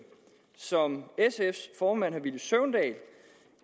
som sfs formand herre villy søvndal